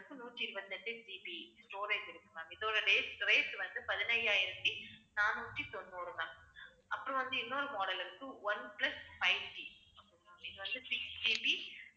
நூற்றி இருபத்தி எட்டு GB storage இருக்கு ma'am இதோட date rate வந்து, பதினையாயிரத்தி நானூத்தி தொண்ணூறு ma'am அப்புறம் வந்து, இன்னொரு model இருக்கு ஒன்பிளஸ் fiveG இது வந்து sixGB